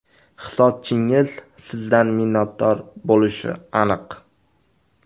Hisobchingiz sizdan minnatdor bo‘lishi aniq.